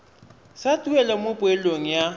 sa tuelo mo poelong ya